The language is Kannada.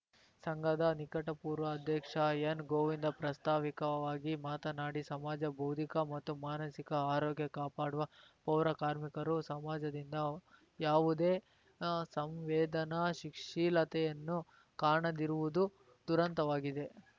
ಸಂಘದ ನಿಕಟಪೂರ್ವ ಅಧ್ಯಕ್ಷ ಎನ್‌ ಗೋವಿಂದ ಪ್ರಾಸ್ತಾವಿಕವಾಗಿ ಮಾತನಾಡಿ ಸಮಾಜ ಬೌದ್ಧಿಕ ಮತ್ತು ಮಾನಸಿಕ ಆರೋಗ್ಯ ಕಾಪಾಡುವ ಪೌರ ಕಾರ್ಮಿಕರು ಸಮಾಜದಿಂದ ಯಾವುದೇ ಸಂವೇದನಾಶಿಕ್ ಶೀಲತೆಯನ್ನು ಕಾಣದಿರುವುದು ದುರಂತವಾಗಿದೆ